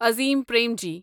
Azim Premji